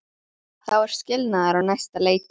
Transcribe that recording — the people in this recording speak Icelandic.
Þá er skilnaður á næsta leiti.